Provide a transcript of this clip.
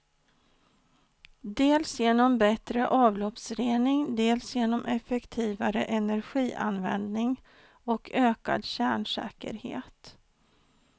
Dels genom bättre avloppsrening, dels genom effektivare energianvändning och ökad kärnsäkerhet.